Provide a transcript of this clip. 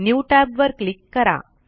new tab वर click करा